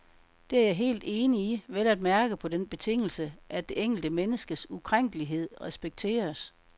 Det er jeg helt enig i, vel at mærke på den betingelse, at det enkelte menneskes ukrænkelighed respekteres.